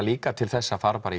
líka til þess að fara bara í